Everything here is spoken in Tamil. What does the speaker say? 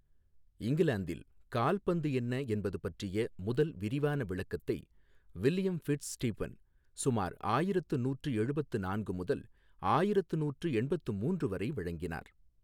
இங்கிலாந்தில், கால்பந்து என்ன என்பது பற்றிய முதல் விரிவான விளக்கத்தை வில்லியம் ஃபிட்ஸ் ஸ்டீபன் சுமார் ஆயிரத்து நூற்று எழுபத்து நான்கு முதல் ஆயிரத்து நூற்று எண்பத்து மூன்று வரை வழங்கினார்.